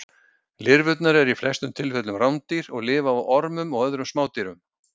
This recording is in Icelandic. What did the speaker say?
Lirfurnar eru í flestum tilfellum rándýr og lifa á ormum og öðrum smádýrum.